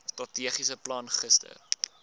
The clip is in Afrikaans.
strategiese plan gister